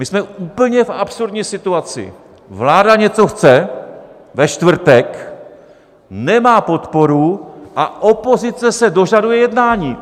My jsme v úplně absurdní situaci, vláda něco chce ve čtvrtek, nemá podporu, a opozice se dožaduje jednání.